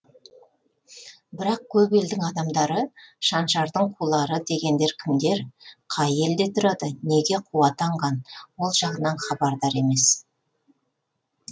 бірақ көп елдің адамдары шаншардың қулары дегендер кімдер қай елде тұрады неге қу атанған ол жағынан хабардар емес